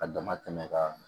A dama tɛmɛ ka